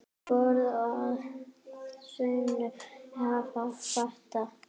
Borð að sönnu hefur fat.